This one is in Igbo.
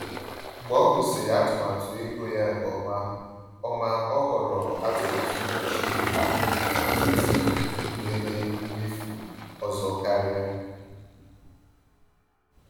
Mgbe ọ gụsịrị atụmatụ ego ya nke ọma, ọma, ọ họrọ atụmatụ mkpuchi ahụike etiti nwere mmefu ọzọ karịa.